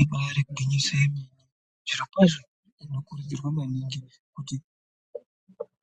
Ibari gwinyiso yemene zvirokwazvo tinokurudzirwa maningi kuti